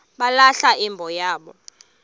balahla imbo yabo